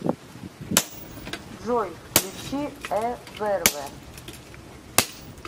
джой включи э вэрвэ